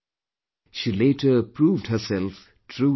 She later proved herself true to her name